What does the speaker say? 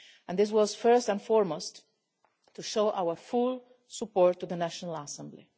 This was, first and foremost, to show our full support for the National Assembly.